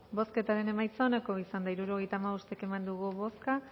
bozketaren emaitza onako izan da hirurogeita hamabost eman dugu bozka